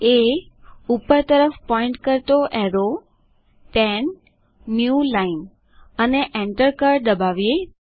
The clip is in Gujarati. એ arrow pointing upward 10 new line અને એન્ટર કળ દબાવીએ